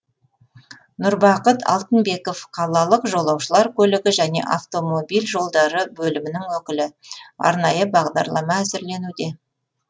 нұрбақыт алтынбеков қалалық жолаушылар көлігі және автомобиль жолдары бөлімінің өкілі арнайы бағдарлама әзірленуде